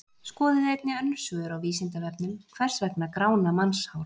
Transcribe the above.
Skoðið einnig önnur svör á Vísindavefnum: Hvers vegna grána mannshár?